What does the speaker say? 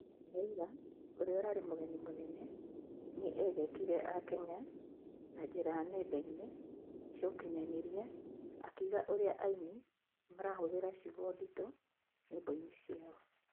Raila, ũrĩa ũrarĩ Mũgeni Mũnene, nĩ egekiire a Kenya na njĩra nendainĩ cia ũkinyanĩria akĩuga ũrĩa aini marahũthĩra ciugo nditu nyĩmboini ciao